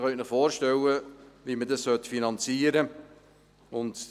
Sie können sich vorstellen, wie man das finanzieren müsste.